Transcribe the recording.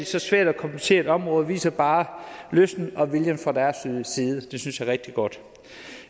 så svært og kompliceret et område viser bare lysten og viljen fra deres side det synes jeg er rigtig godt